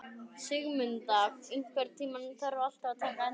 Sigmunda, einhvern tímann þarf allt að taka enda.